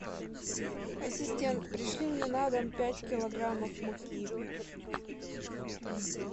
ассистент пришли мне на дом пять килограммов муки